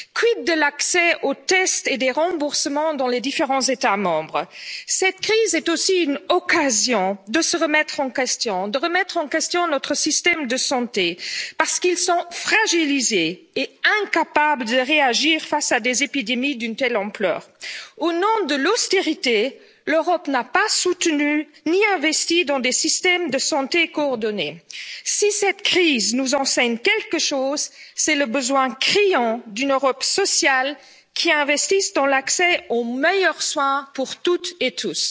Quid de l'accès aux tests et des remboursements dans les différents États membres? Cette crise est aussi une occasion de nous remettre en question, de remettre en question nos systèmes de santé, parce qu'ils sont fragilisés et incapables de réagir face à des épidémies d'une telle ampleur. Au nom de l'austérité, l'Europe n'a pas consacré de soutien ni d'investissements à des systèmes de santé coordonnés. Si cette crise nous enseigne quelque chose, c'est le besoin criant d'une Europe sociale qui investisse dans l'accès aux meilleurs soins pour toutes et tous.